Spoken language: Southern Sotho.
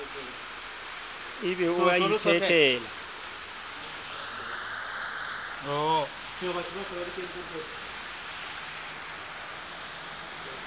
e be o a iphetela